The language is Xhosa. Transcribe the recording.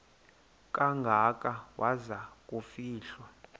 kangaka waza kufihlwa